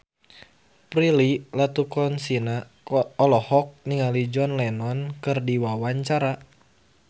Prilly Latuconsina olohok ningali John Lennon keur diwawancara